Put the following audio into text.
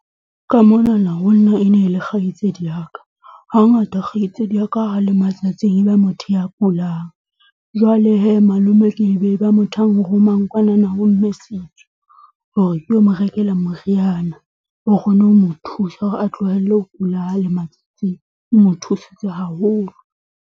Ka monana ho nna e ne le kgaitsedi ya ka. Hangata kgaitsedi ya ka ha le matsatsing e ba motho ya kulang. Jwale hee malome e be ba motho ya nromang kwanana ho mme Setsu hore ke o mo rekela moriana o kgone ho mo thusa hore a tlohelle ho kula ha le matsatsing, o mo thusitse haholo.